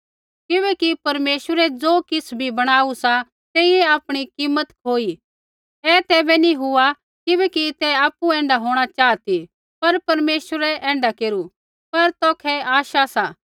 किबैकि परमेश्वरै ज़ो किछ़ बी बणाऊ सा तेइयै आपणी कीमत खोई ऐ तैबै नैंई हुआ किबैकि तै आपु ऐण्ढा होंणा चाहा ती पर परमेश्वरै ऐण्ढा केरू पर तौखै आश सा